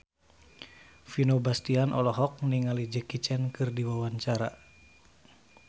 Vino Bastian olohok ningali Jackie Chan keur diwawancara